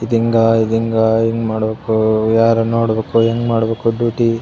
ಇದು ಹಿಂಗ ಇದು ಹಿಂಗ ಏನು ಮಾಡಬೇಕು ಯಾರನ್ನ ನೋಡ್ಬೇಕು ಹೆಂಗ್ ಮಾಡಬೇಕು ಡ್ಯೂಟಿ .